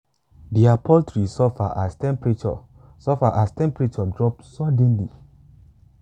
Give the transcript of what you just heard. their poultry suffer as temperature suffer as temperature drop suddenly.